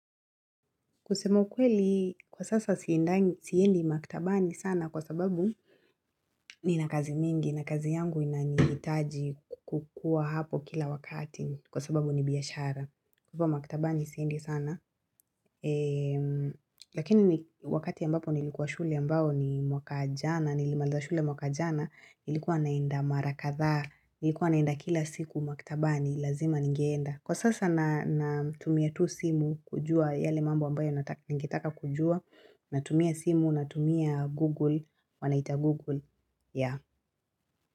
Kusema ukweli, kwa sasa siendi maktabani sana kwa sababu nina kazi mingi, na kazi yangu inanihitaji kukuwa hapo kila wakati kwa sababu ni biashara. Huko maktabani siendi sana, lakini wakati ambapo nilikuwa shule ambao ni mwaka jana nilimaliza shule mwaka jana, nilikuwa naenda mara katha, nilikuwa naenda kila siku maktabani, lazima ningeenda. Kwa sasa natumia tu simu kujua yale mambo ambayo ningetaka kujua Natumia simu, natumia google, wanaita google. Yeah